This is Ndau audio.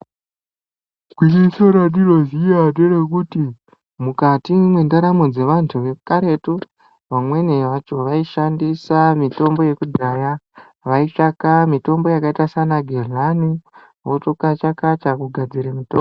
Gwinyiso randinoziya nderekuti mukati mwendaramo dzevanhu vekaretu. Vamweni vacho vaishandise mitombo yekudhaya veitsvake mitombo yakaite seanageghlani votokacha kacha kugadzire mutombo.